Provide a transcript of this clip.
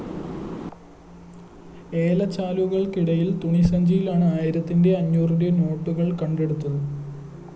ഏലച്ചാക്കുകള്‍ക്കിടയില്‍ തുണി സഞ്ചിയിലാണ് ആയിരത്തിന്റെയും അഞ്ഞൂറിന്റെയും നോട്ടുകള്‍ കണ്ടെടുത്തത്